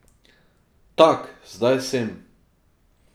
Tak zdaj sem.